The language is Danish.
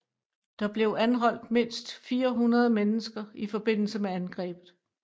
Der blev anholdt mindst 400 mennesker i forbindelse med angrebet